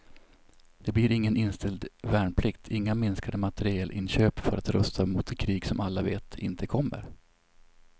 Det blir ingen inställd värnplikt, inga minskade materielinköp för att rusta mot det krig som alla vet inte kommer.